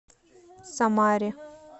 самаре